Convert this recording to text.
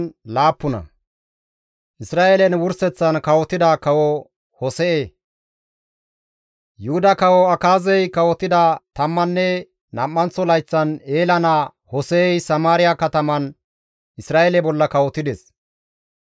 Yuhuda kawo Akaazey kawotida tammanne nam7anththo layththan Eela naa Hose7ey Samaariya kataman Isra7eele bolla kawotides; 9 layththika dereza haarides.